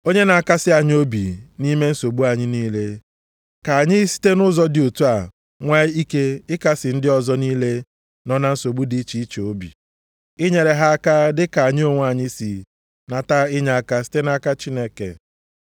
Onye na-akasị anyị obi nʼime nsogbu anyị niile, ka anyị site nʼụzọ dị otu a nwee ike ịkasị ndị ọzọ niile nọ na nsogbu dị iche iche obi. Inyere ha aka dịka anyị onwe anyị si nata inyeaka site nʼaka Chineke.